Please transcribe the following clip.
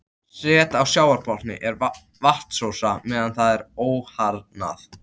Set á sjávarbotni er vatnsósa meðan það er óharðnað.